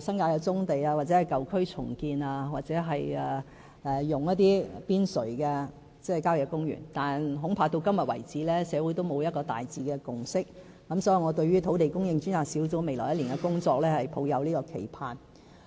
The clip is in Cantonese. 新界的"棕地"、舊區重建，或使用郊野公園邊陲地帶土地，但至今為止，社會恐怕仍沒有一個大致的共識，所以我對於土地供應專責小組未來1年的工作抱有期盼。